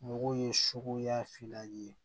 Mɔgɔw ye suguya fila ye